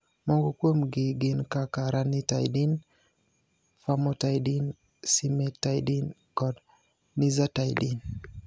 Moko kuomgi gin kaka ranitidine, famotidine, cimetidine kod nizatidine.